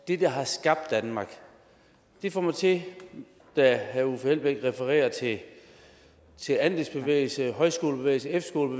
det der har skabt danmark det får mig til da herre uffe elbæk refererer til andelsbevægelsen højskolebevægelsen